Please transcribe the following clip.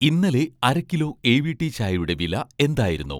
ഇന്നലെ അര kilo 'AVT' ചായയുടെ വില എന്തായിരുന്നു?